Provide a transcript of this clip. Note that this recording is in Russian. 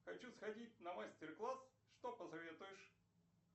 хочу сходить на мастер класс что посоветуешь